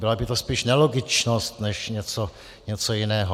Byla by to spíš nelogičnost než něco jiného.